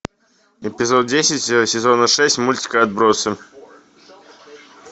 эпизод десять сезона шесть мультика отбросы